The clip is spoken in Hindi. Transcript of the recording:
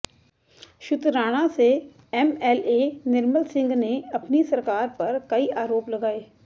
शुतराणा से एमएलए निर्मल सिंह ने अपनी सरकार पर कई आरोप लगाए